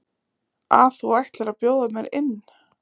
að þú ætlir að bjóða mér inn?